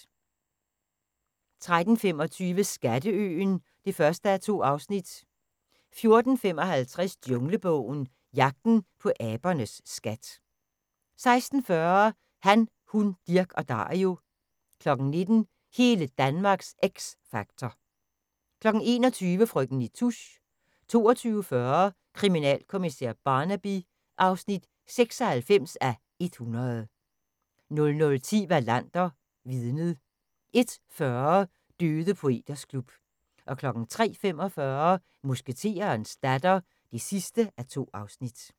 13:25: Skatteøen (1:2) 14:55: Junglebogen – Jagten på abernes skat 16:40: Han, Hun, Dirch og Dario 19:00: Hele Danmarks X Factor 21:00: Frøken Nitouche 22:40: Kriminalkommissær Barnaby (96:100) 00:10: Wallander: Vidnet 01:40: Døde poeters klub 03:45: Musketerens datter (2:2)